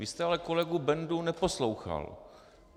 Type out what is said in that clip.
Vy jste ale kolegu Bendu neposlouchal.